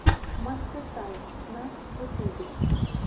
мастэ тайм на ютубе